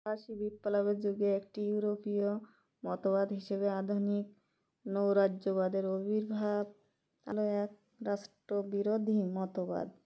ফরাসি বিপ্লবের যুগে একটি ইউরোপীয় মতবাদ হিসেবে আধুনিক নৌরাজ্যবাদের অবির্ভাব আরও এক রাষ্ট্রবিরোধী মতবাদ